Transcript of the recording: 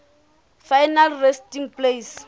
final resting place